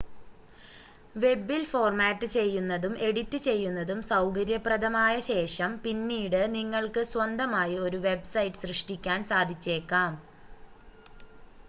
വെബിൽ format ചെയ്യുന്നതും edit ചെയ്യുന്നതും സൗകര്യപ്രദമായ ശേഷം പിന്നീട് നിങ്ങൾക്ക് സ്വന്തമായി ഒരു വെബ്സൈറ്റ് സൃഷ്‌ടിക്കാൻ സാധിച്ചേക്കാം